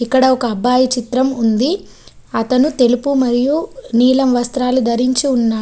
ఇక్కడ ఒక అబ్బాయి చిత్రం ఉంది. అతను తెలుపు మరియు నీలం వస్త్రాలు ధరించి ఉన్నాడు.